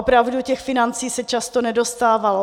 Opravdu těch financí se často nedostávalo.